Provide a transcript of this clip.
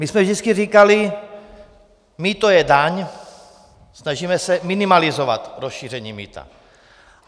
My jsme vždycky říkali: mýto je daň, snažíme se minimalizovat rozšíření mýta.